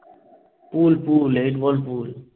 পুল, ভুল। Eight ball পুল।